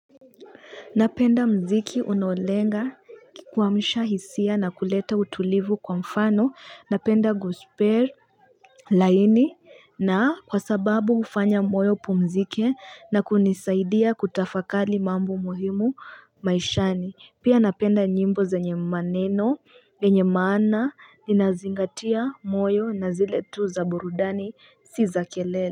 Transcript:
Napenda mziki unolenga kukwamisha hisia na kuleta utulivu kwa mfano napenda gospel, laini na kwa sababu ufanya moyo upumzike na kunisaidia kutafakari mambo muhimu maishani. Pia napenda nyimbo zenye maneno yenye maana linazingatia moyo na zile tu za burudani si za kelele.